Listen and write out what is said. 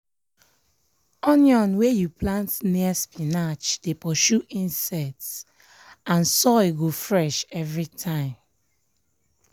onion wey you plant near spinach dey pursue insects and soil go fresh every time.